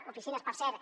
oficines per cert